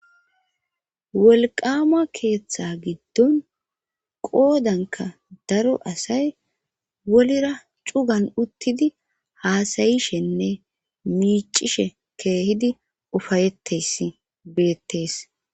wolqama keeththa giddon qoodanka daro asay wolira cugan uttidi haasayishenne miicishe keehidi ufayettes beettees